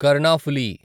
Karnaphuli